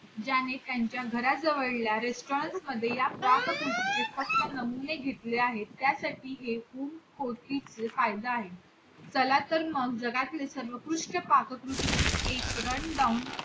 ज्याने त्यांच्या घराजवळऱ्या restaurant मध्ये या पाककृतींची फक्त नमुने घेतले आहेत त्यासाठी एकूण काढला आहे चला तर मग जगातली सर्वोकृष्ट पाककृतींची एक run down